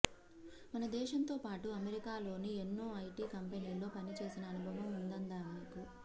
మన దేశంతోపాటు అమెరికాలోని ఎన్నో ఐటి కంపెనీల్లో పనిచేసిన అనుభవం ఉందామెకు